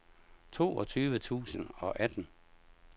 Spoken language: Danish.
toogtyve tusind og atten